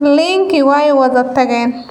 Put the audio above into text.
Liinkii way wada tageen.